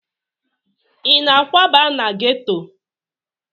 Ị na-akwaba na geto?